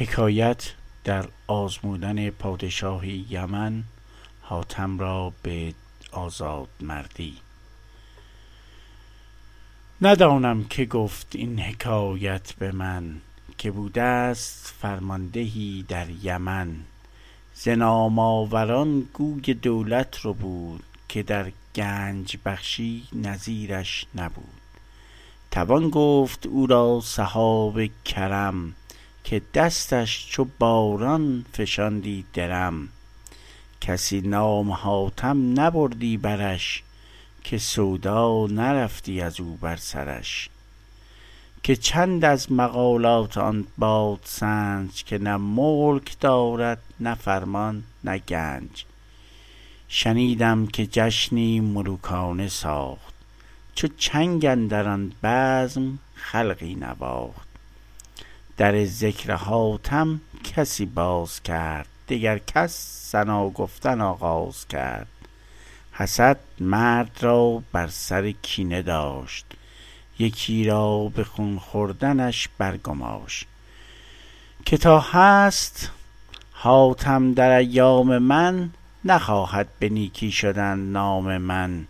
ندانم که گفت این حکایت به من که بوده ست فرماندهی در یمن ز نام آور ان گوی دولت ربود که در گنج بخشی نظیر ش نبود توان گفت او را سحاب کرم که دستش چو باران فشاندی درم کسی نام حاتم نبردی برش که سودا نرفتی از او بر سرش که چند از مقالات آن بادسنج که نه ملک دارد نه فرمان نه گنج شنیدم که جشنی ملوکانه ساخت چو چنگ اندر آن بزم خلقی نواخت در ذکر حاتم کسی باز کرد دگر کس ثنا گفتن آغاز کرد حسد مرد را بر سر کینه داشت یکی را به خون خوردنش بر گماشت که تا هست حاتم در ایام من نخواهد به نیکی شدن نام من